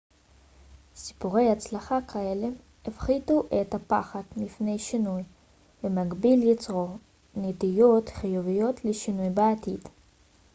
סיפורי הצלחה כאלה הפחיתו את הפחד מפני שינוי ובמקביל יצרו נטיות חיוביות לשינוי בעתיד